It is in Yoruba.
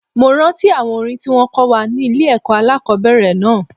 Mo rántí àwọn orin tí wón kọ́ wa ní ilé ẹ̀kọ́ alákòbẹ̀rẹ̀ náà.